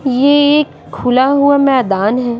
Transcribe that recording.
ये एक खुला हुआ मैदान है।